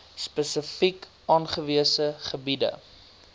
spesifiek aangewese gebiede